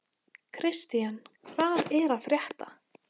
Kristian, hvað er að frétta?